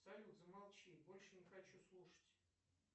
салют замолчи больше не хочу слушать